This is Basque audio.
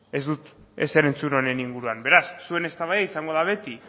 ez dut ezer entzun honen inguruan beraz zuen eztabaida izango da beti